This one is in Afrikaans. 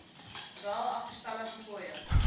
wel agterstallige fooie